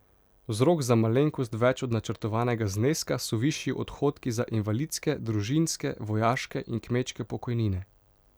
Vzrok za malenkost več od načrtovanega zneska so višji odhodki za invalidske, družinske, vojaške in kmečke pokojnine.